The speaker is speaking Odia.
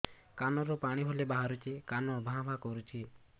କାନ ରୁ ପାଣି ଭଳି ବାହାରୁଛି କାନ ଭାଁ ଭାଁ କରୁଛି